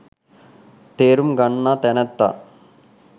තේරුම් ගන්නා තැනැත්තා